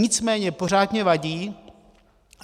Nicméně pořád mně vadí,